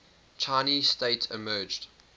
chinese state emerged